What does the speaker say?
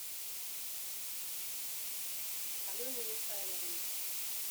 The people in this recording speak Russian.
алене михайловне